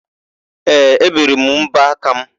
Ee, ébèrè m mbọaka mụ.